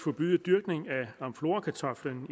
forbyde dyrkning af amflorakartoflen